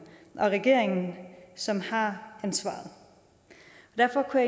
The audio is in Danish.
og regeringen som har ansvaret derfor kunne